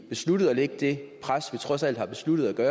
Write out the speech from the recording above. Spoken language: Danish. besluttede at lægge det pres der trods alt er besluttet